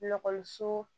Ekɔliso